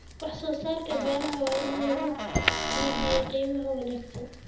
Wax soo saarka beeraha waa in lagu iibiyaa qiimo wanaagsan.